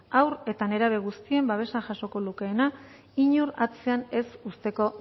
hau eta nerabe guztien babesa jasoko lukeena inor atzean ez uzteko